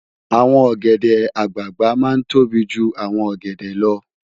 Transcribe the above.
Awòn ògèdè àgbágbá má n tóbí jú áwòn ògèdè lò